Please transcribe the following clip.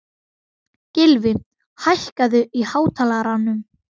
Gylfi, hækkaðu í hátalaranum.